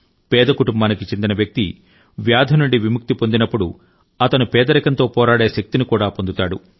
పేద కుటుంబానికి చెందిన వ్యక్తి వ్యాధి నుండి విముక్తి పొందినప్పుడు అతను పేదరికంతో పోరాడే శక్తిని కూడా పొందుతాడు